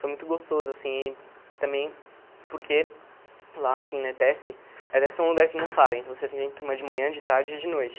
Foi muito gostoso, assim, e também porque lá, assim, na ETESP, a ETESP é um lugar que não para, então você tem turma de manhã, de tarde e de noite.